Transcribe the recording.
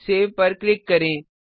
save पर click करें